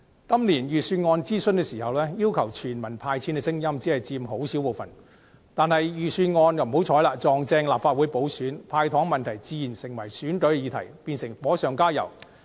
今年預算案諮詢期間，要求全民"派錢"的聲音只佔很小部分，但不幸碰巧是立法會補選期，"派糖"問題自然成為了選舉議題，變成火上加油。